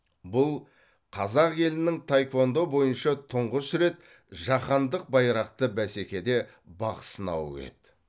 бұл қазақ елінің таеквондо бойынша тұңғыш рет жаһандық байрақты бәсекеде бақ сынауы еді